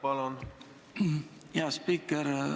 Aitäh, hea spiiker!